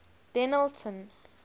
dennilton